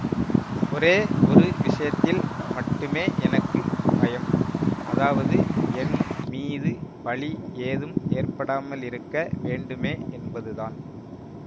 ஒரே ஒரு விஷயத்தில் மட்டுமே எனக்கு பயம் அதாவது என் மீது பழி ஏதும் ஏற்படாமலிருக்க வேண்டுமே என்பதுதான்